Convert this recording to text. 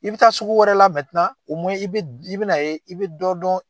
I bɛ taa sugu wɛrɛ la i be d i bɛn'a ye i bɛ dɔ dɔn.